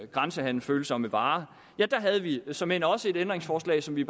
grænsehandelsfølsomme varer der havde vi såmænd også et ændringsforslag som vi i